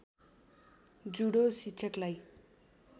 judo शिक्षकलाई